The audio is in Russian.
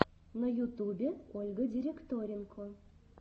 на ютубе ольга директоренко